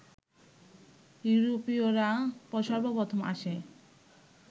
ইউরোপীয়রা সর্বপ্রথম আসে